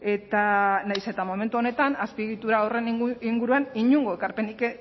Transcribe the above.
eta nahiz eta momentu honetan azpiegitura horren inguruan inongo ekarpenik